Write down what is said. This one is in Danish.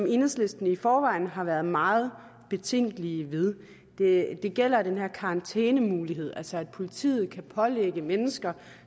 i enhedslisten i forvejen har været meget betænkelige ved det gælder den her karantænemulighed altså at politiet kan pålægge mennesker